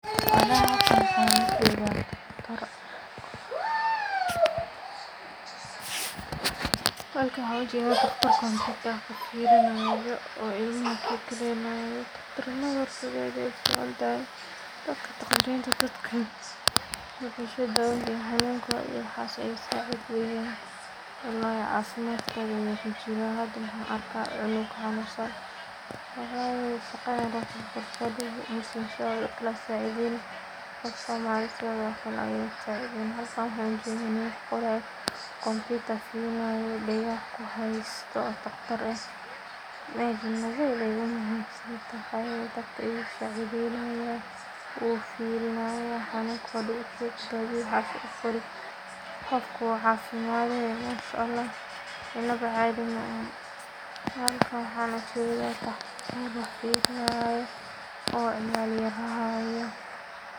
Halkan waxaan ujadah, halkan waxaan ujadah digtor wax firfirnayo oo ilma kikalaynayo durmada said ayay u ficantahay, dadka taqtarinta dadka way xushmad hawanka saas wayan walhi cafimadka wuxu ku jira hada waxan arhaya cunuk xanusan, wax shaqada fadadka inay saacidaynasoh, qofkan side okle halkan waxaan ujadah computer dagaha ku hastoh taqtar ah aad aya ogu muhiim saantahay taqtarinta u firinaya marku ka bacdi qofka u cafimaday mashallah inba cadi mahan halkan waxan ujadah taqtar firinayo ilma yar hayo.